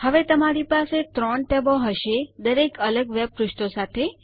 હવે તમારી પાસે 3 ટેબો હશે દરેક અલગ વેબ પૃષ્ઠો સાથે